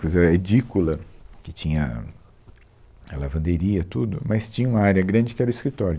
Quer dizer, a edícula, que tinha a lavanderia, tudo, mas tinha uma área grande que era o escritório.